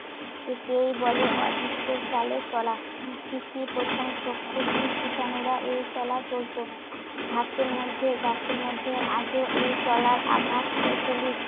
একেই বলে অদৃষ্টের চালে চলা। সৃষ্টির প্রথম চক্ষুহীন কিটানুরা এই চলা চলত। ঘাসের মধ্যে, গাছের মধ্যে আজও এই চলার আভাস প্রচলিত।